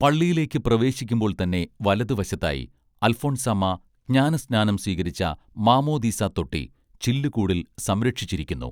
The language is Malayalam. പള്ളിയിലേക്ക് പ്രവേശിക്കുമ്പോൾ തന്നെ വലതുവശത്തായി അൽഫോൻസാമ്മ ജ്ഞാനസ്നാനം സ്വീകരിച്ച മാമോദീസതൊട്ടി ചില്ലുകൂടിൽ സംരക്ഷിച്ചിരിക്കുന്നു